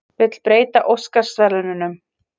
Vill breyta Óskarsverðlaununum